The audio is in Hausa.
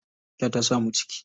Aisha ta samu ciki.